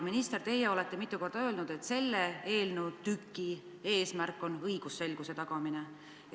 Minister, te olete mitu korda öelnud, et selle eelnõutüki eesmärk on õigusselguse tagamine.